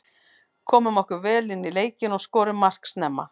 Komum okkur vel inní leikinn og skorum mark snemma.